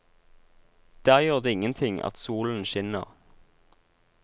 Der gjør det ingenting at solen skinner.